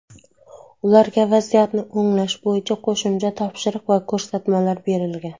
Ularga vaziyatni o‘nglash bo‘yicha qo‘shimcha topshiriq va ko‘rsatmalar berilgan.